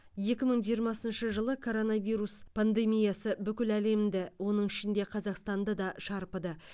екі мың жиырмасыншы жылы коронавирус пандемиясы бүкіл әлемді оның ішінде қазақстанды да шарпыды